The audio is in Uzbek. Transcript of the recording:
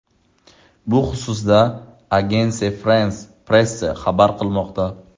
Bu xususda Agence France-Presse xabar qilmoqda .